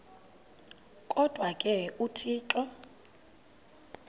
kodwa ke uthixo